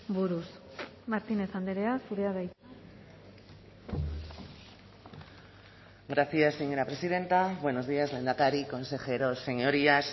buruz martínez andrea zurea da hitza gracias señora presidenta buenos días lehendakari consejeros señorías